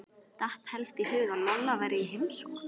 Datt helst í hug að Lolla væri í heimsókn.